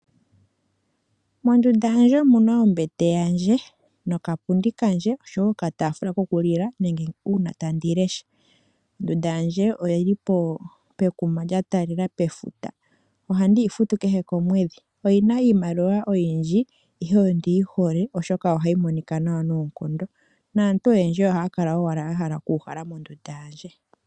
Mondunda yandje omu na ombete, okapundi noshowo okataafula kokulila nenge uuna tandi lesha. Ondunda yandje oyi li pekuma lya taalela pefuta. Ohandi yi futu kehe komwedhi. Oyi na iimaliwa oyindji, ihe ondi yi hole, oshoka ohayi monika nawa noonkondo naantu oyendji ohaya kala owala ya hala okuuhala mondunda yandje.